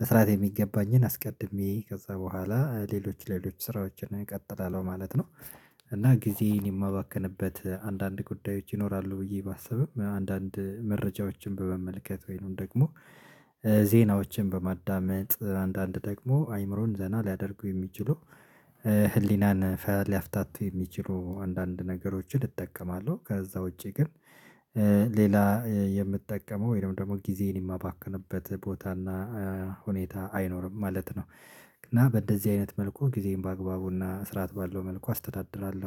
በስራቴ የሚገባኝን አስቀድሜ ከዛ በኋላ ሌሎች ሌሎች ስራዎችን እቀጥላለሁ ማለት ነው። እና ጊዜን የማባከንበት አንዳንድ ጉዳዮች ይኖራሉ ብዬ ባሰብም አንዳንድ መረጃዎችን በመመልከት ወይኑን ደግሞ ዜናዎችን በማዳመጥ አንዳንድ ደግሞ አይምሮን ዘና ሊያደርጉ የሚችሉ ህሊናን ሊያፍታቱ የሚችሉ አንዳንድ ነገሮችን እጠቀማለሁ። ከዛ ውጪ ግን ሌላ የምጠቀመው ወይም ደግሞ ጊዜን የማባከንበት ቦታና ሁኔታ አይኖርም ማለት ነው። እና በእንደዚህ አይነት መልኩ ጊዜን በአግባቡና ስርዓት ባለው መልኩ አስተዳድራለሁ